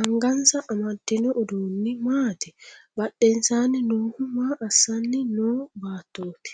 Angansa amadino uduunni maati? Badhensaanni noohu maa assanni noo beettoti?